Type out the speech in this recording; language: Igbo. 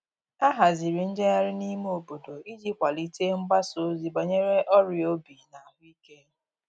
A haziri njeghari n'ime obodo iji kwalite mgbasa ozi banyere ọria obi na ahuike